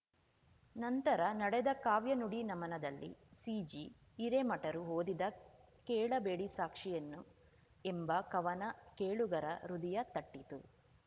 ನಂತರ ನಡೆದ ಕಾವ್ಯನುಡಿ ನಮನದಲ್ಲಿ ಸಿಜಿ ಹಿರೇಮಠರು ಓದಿದ ಕೇಳಬೇಡಿ ಸಾಕ್ಷಿಯನ್ನು ಎಂಬ ಕವನ ಕೇಳುಗರ ಹೃದಯ ತಟ್ಟಿತು